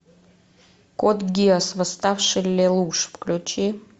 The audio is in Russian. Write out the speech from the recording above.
код гиас восставший лелуш включи